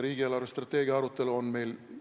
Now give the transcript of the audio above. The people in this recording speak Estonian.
Riigi eelarvestrateegia arutelu